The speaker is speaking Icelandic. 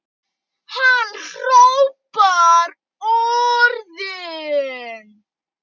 Hann hrópar orðin.